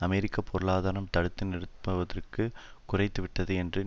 அமெரிக்க பொருளாதாரம் தடுத்து நிறுத்துவதற்கு குறைந்துவிட்டது என்றும்